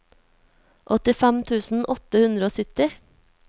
åttifem tusen åtte hundre og sytti